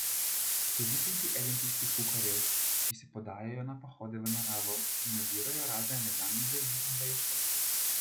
Ste vi tudi eden tistih kuharjev, ki se podajajo na pohode v naravo in nabirajo razne neznane zeli in vejice?